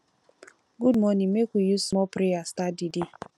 good morning make we use small prayer start di day